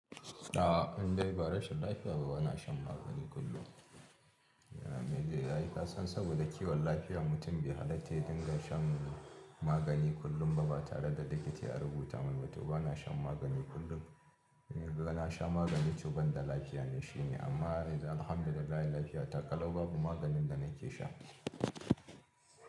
A'a in dai ba rashin lafiya ba bana shan magani kullum. Me be zai yi? Ka san saboda kiwon lafiyar mutum be halatta ya dinga shan magani kullum ba ba tare da likita ya rubuta mai ba. To bana shan magani kullum. In ka ga na sha magani to ban da lafiya ne shine amma alhamdulillah lafiya ta ƙalau babu maganin da nake sha.